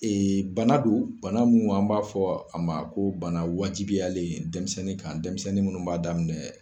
Ee bana don , bana mun an b'a fɔ a ma ko bana wajibiyalen dɛnmisɛnnin kan dɛnmisɛnnin munnu b'a daminɛ